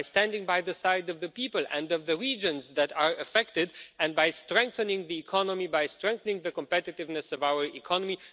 by standing by the side of the people and of the regions that are affected and by strengthening the economy, by strengthening the competitiveness of our economy.